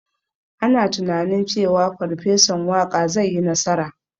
Ana tunanin cewa Farfesan Waƙa zai yi nasara.